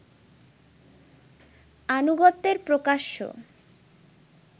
আনুগত্যের প্রকাশ্য